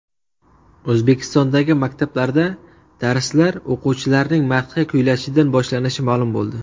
O‘zbekistondagi maktablarda darslar o‘quvchilarning madhiya kuylashidan boshlanishi ma’lum bo‘ldi.